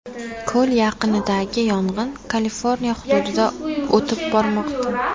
Ko‘l yaqinidagi yong‘in Kaliforniya hududiga o‘tib bormoqda.